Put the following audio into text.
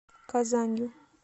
казанью